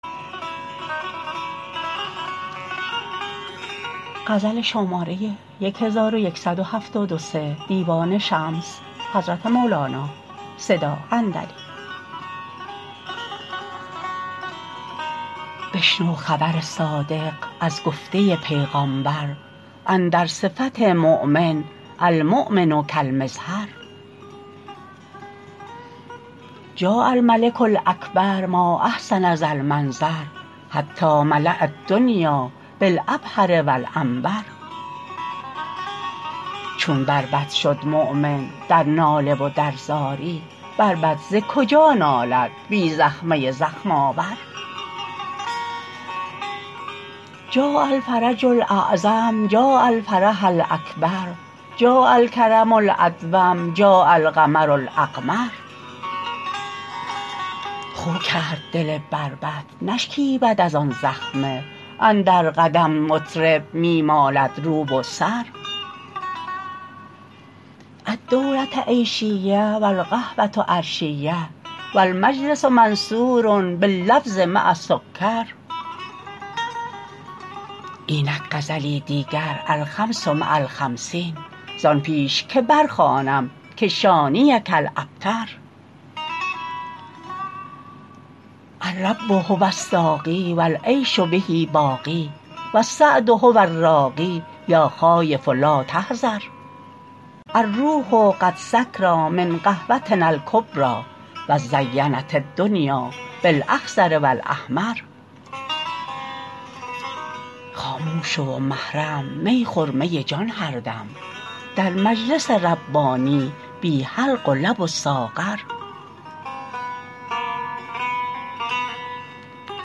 بشنو خبر صادق از گفته پیغامبر اندر صفت مؤمن المؤمن کالمزهر جاء الملک الاکبر ما احسن ذا المنظر حتی ملاء الدنیا بالعبهر و العنبر چون بربط شد مؤمن در ناله و در زاری بربط ز کجا نالد بی زخمه زخم آور جاء الفرج الاعظم جاء الفرج الاکبر جاء الکرم الادوم جاء القمر الاقمر خو کرد دل بربط نشکیبد از آن زخمه اندر قدم مطرب می مالد رو و سر الدوله عیشیه و القهوه عرشیه و المجلس منثور باللوز مع السکر اینک غزلی دیگر الخمس مع الخمسین زان پیش که برخوانم که شانیک الابتر الرب هو الساقی و العیش به باقی و السعد هو الراقی یا خایف لا تحذر الروح غدا سکری من قهوتنا الکبری و ازینت الدنیا بالاخضر و الاحمر خاموش شو و محرم می خور می جان هر دم در مجلس ربانی بی حلق و لب و ساغر